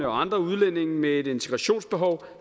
og andre udlændinge med et integrationsbehov